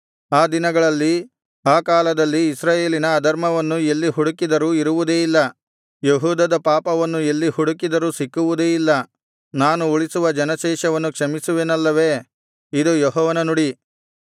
ಆ ದಿನಗಳಲ್ಲಿ ಆ ಕಾಲದಲ್ಲಿ ಇಸ್ರಾಯೇಲಿನ ಅಧರ್ಮವನ್ನು ಎಲ್ಲಿ ಹುಡುಕಿದರೂ ಇರುವುದೇ ಇಲ್ಲ ಯೆಹೂದದ ಪಾಪವನ್ನು ಎಲ್ಲಿ ಹುಡುಕಿದರೂ ಸಿಕ್ಕುವುದೇ ಇಲ್ಲ ನಾನು ಉಳಿಸುವ ಜನಶೇಷವನ್ನು ಕ್ಷಮಿಸುವೆನಲ್ಲವೆ ಇದು ಯೆಹೋವನ ನುಡಿ